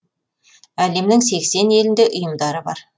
әлемнің сексен елінде ұйымдары бар